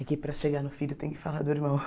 é que para chegar no filho tem que falar do irmão.